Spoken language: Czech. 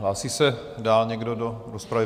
Hlásí se dál někdo do rozpravy?